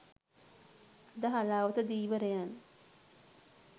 අද හලාවත ධීවරයන්